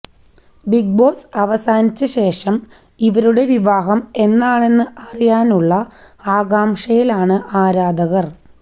Bigg Boss അവസാനിച്ച ശേഷം ഇവരുടെ വിവാഹം എന്നാണെന്ന് അറിയാനുളള ആകാഷംയിലാണ് ആരാധകര്